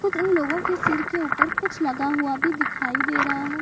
कुछ इन लोगो की सिर के ऊपर कुछ लगा हुआ भी दिखाई दे रहा है।